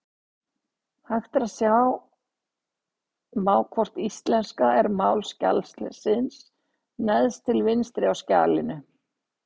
Hægt er að sjá má hvort íslenska er mál skjalsins neðst til vinstri í skjalinu.